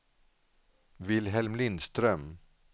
Vilhelm Lindström